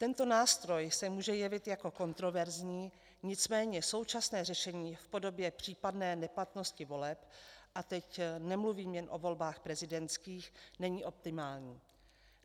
Tento nástroj se může jevit jako kontroverzní, nicméně současné řešení v podobě případné neplatnosti voleb, a teď nemluvím jen o volbách prezidentských, není optimální.